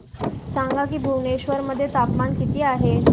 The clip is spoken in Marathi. सांगा की भुवनेश्वर मध्ये तापमान किती आहे